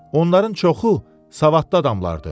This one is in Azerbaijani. Onların çoxu savadlı adamlardır.